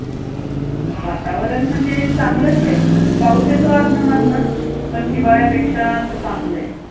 वातावरण म्हणजे चांगलंचंय, पाऊस येतो अधनंमधनं, पण हिवाळ्यापेक्षा तर चांगलंय.